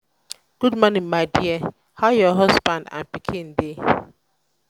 good morning my dear how your husband and pikin dey?